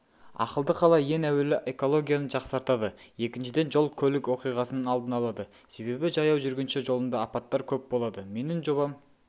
ақылды қала ең әуелі экологияны жақсартады екіншіден жол көлік оқиғасының алдын алады себебі жаяу жүргінші жолында апаттар көп болады менің жобам